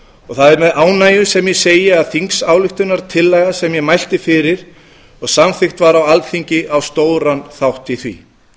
og það er með ánægju sem ég segi að þingsályktunartillaga sem ég mælti fyrir og samþykkt var á alþingi á stóran þátt í því